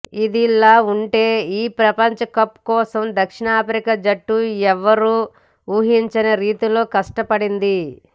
ఇదిలా ఉంటే ఈ ప్రపంచ కప్ కోసం దక్షిణాఫ్రికా జట్టు ఎవరూ ఊహించని రీతిలో కష్టపడింది